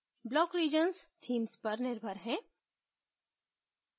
block regions themes पर निर्भर है